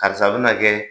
Karisa bina kɛ